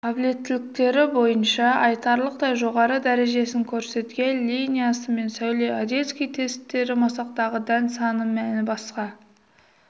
қабілеттіліктері бойынша айтарлықтай жоғары дәрежесін көрсеткен линиясы мен сәуле одесский тесттері масақтағы дән саны мәні басқа